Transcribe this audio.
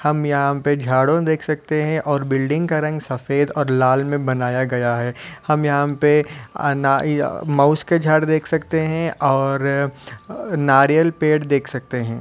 हम यहाँ पे झाड़ों देख सकते हैं और बिल्डिंग का रंग सफ़ेद और लाल में बनाया गया है। हम यहाँ पे मउस के झाड़ देख सकते हैं और नारियल पेड़ देख सकते हैं।